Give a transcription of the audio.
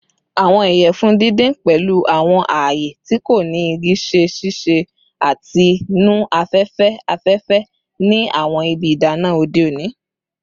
Awọn iyẹfun didin, pẹlu awọn aaye ti ko ni igi, ṣe sise ati nu afẹfẹ afẹfẹ ni awọn ibi idana ode oni.